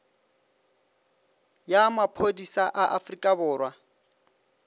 ya maphodisa a afrika borwa